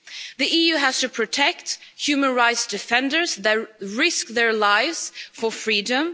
The EU has to protect human rights defenders that risk their lives for freedom.